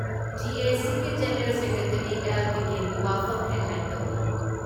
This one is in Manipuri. ꯖꯦ.ꯑꯦ.ꯁꯤꯒꯤ ꯖꯦꯅꯦꯔꯦꯜ ꯁꯦꯀ꯭ꯔꯦꯇꯔꯤ ꯑꯦꯜ. ꯕꯤꯀꯦꯟꯒꯤ ꯋꯥꯐꯝ ꯍꯦꯗꯂꯥꯏꯟ ꯇꯧꯔꯤ ꯫